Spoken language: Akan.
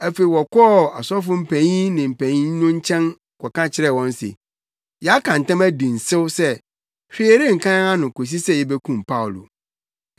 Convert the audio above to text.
Afei wɔkɔɔ asɔfo mpanyin ne mpanyin no nkyɛn kɔka kyerɛɛ wɔn se, “Yɛaka ntam adi nsew sɛ hwee renka yɛn ano kosi sɛ yebekum Paulo.